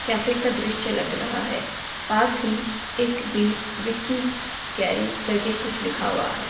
Cafe का दृश्य लग रहा है। पास ही एक वी- विक्की गैरी कर के कुछ लिखा हुआ हैं।